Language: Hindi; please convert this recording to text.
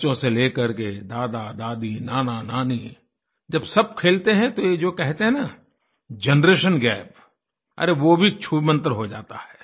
बच्चों से ले करके दादादादी नानानानी जब सब खेलते हैं तो यह जो कहते हैं न जनरेशन gapअरे वो भी छूमंतर हो जाता है